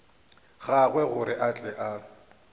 gagwe gore a tle a